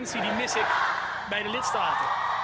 Die urgentie mis ik bij de lidstaten.